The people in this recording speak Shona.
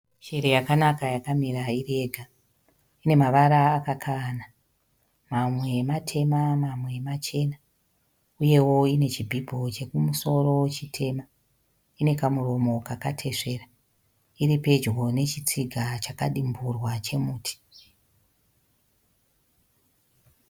Shiri yakanaka yakamira iri yega. Ine mavara akakavana, mamwe matema mamwe machena uyewo ine chibhibho chekumusoro chitema. Ine kamuromo kakatesvera. Iri pedyo nechitsiga chakadimurwa chemuti.